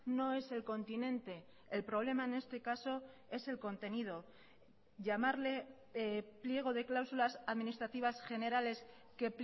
no es el continente el problema en este caso es el contenido llamarle pliego de cláusulas administrativas generales que